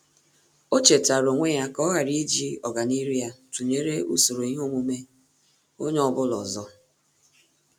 Ọ́ chètàrà onwe ya kà yá ọghara íjí ọ́gànihu ya tụnyere usoro ihe omume onye ọ bụla ọzọ.